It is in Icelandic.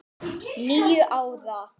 . níu ár!